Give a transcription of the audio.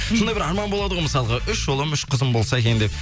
сондай бір арман болады ғой мысалға үш ұлым үш қызым болса екен деп